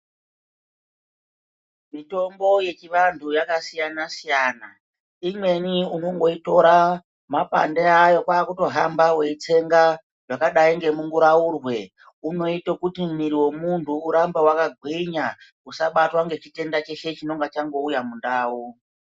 Mitombo yechivantu yakasiyana-siyana imweni unongotora mapande awo kwaakutohamba weitsenga, wakadai ngemunguraurwe, unoite kuti muiri wemuntu urambe wakagwinya, usabatwe ngechitenda cheshe chinonga changouya mundau.